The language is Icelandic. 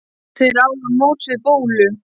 Þeir áðu á móts við Bólu.